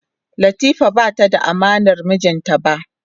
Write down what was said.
Latifa bata da amanar mijinta ba.